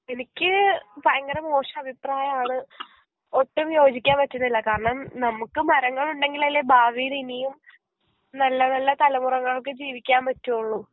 എനിക്ക് ഫയങ്കര മോശഭിപ്രായാണ് ഒട്ടും യോജിക്കാൻ പറ്റുന്നില്ല കാരണം നമുക്ക് മരങ്ങളുണ്ടെങ്കിലല്ലെ ഭാവീല് ഇനിയും നല്ല നല്ല തലമൊറകൾക്ക് ജീവിക്കാൻ പറ്റുള്ളു